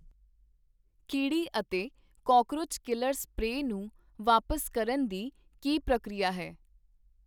ਕੀੜੀ ਅਤੇ cockroach killer spray ਨੂੰ ਵਾਪਸ ਕਰਨ ਦੀ ਕੀ ਪ੍ਰਕਿਰਿਆ ਹੈ?